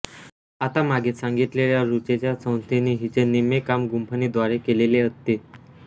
आता मागे सांगितलेल्या ऋचेच्या संथेनी हिचे निम्मे काम गुंफणीद्वारे केलेले असते